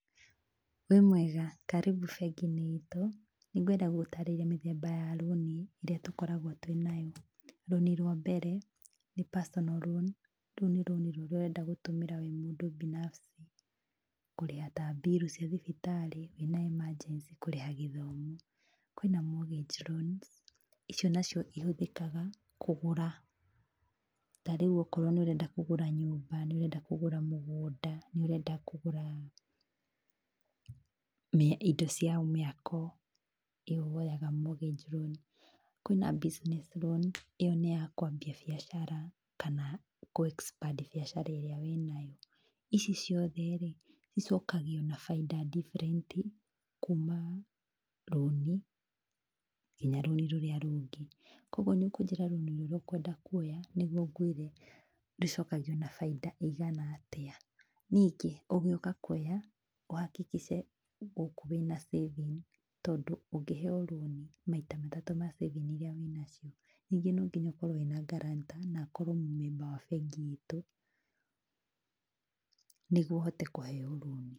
Wĩmwega, karibu bengiinĩ iitũ, nĩngwenda gũgũtarĩria mĩthemba ya rũũni ĩrĩa tũkoragwo twĩ nayo, rũũni rwa mbere, nĩ personal loan, rũu nĩ rũũni rũrĩa ũrenda gũtũmĩra wĩ mũndũ binafsi kũrĩha ta bill cia thibitarĩ wĩna emergency, kũrĩha gĩthomo. Kwĩna morgate loans icio nacio ihũthĩkaga kũgũra, tarĩu okorwo nĩũrenda kũgũra nyũmba, nĩũrenda kũgũra mũgũnda, nĩũrenda kũgũra indo cia mĩako, ĩyo woyaga mortgage loan. Kwĩna business loan ĩyo nĩ ya kwambia biacara kana kũ expand biacara ĩrĩa wĩnayo. Ici ciothe-rĩ icokagio na faida different, kuuma rũũni nginya rũũni rũrĩa rũngĩ. Koguo nĩũkũnjĩra rũũni rũrĩa ũkwenda kwoya nĩguo ngwĩre rũcokagio na faida ĩigana atĩa. Ningĩ ugĩũka kwoya ũhakikice gũkũ wĩna saving tondũ ũngĩheo rũũni maita matatũ ma saving iria wĩnacio. Ningĩ nonginya ũkorwo wĩna guarantor na akorwo mũ-memba wa bengi iitũ nĩguo ũhote kũheo rũũni